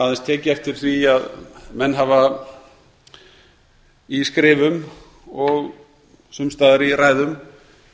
aðeins tekið eftir því að menn hafa í skrifum og sums staðar í ræðum